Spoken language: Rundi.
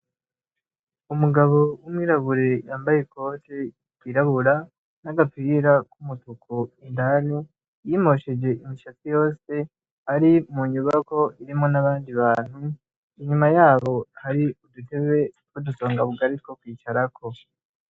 Umugabo w'umwirabure yambaye ikoti yirabura n'agapira k'umutuku indani, yimosheje imisatsi yose ari mu nyubako irimwo n'abandi bantu. Inyuma yaho, hari udutebe tw'udusonga bugari two kwicarako.